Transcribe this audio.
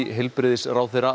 heilbrigðisráðherra